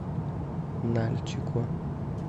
нальчику